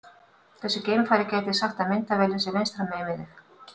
Þessi geimfari gæti sagt að myndavélin sé vinstra megin við sig.